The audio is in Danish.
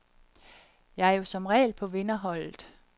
Jeg er jo som regel på vinderholdet.